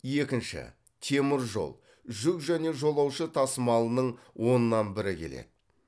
екінші темір жол жүк және жолаушы тасымалының оннан бірі келеді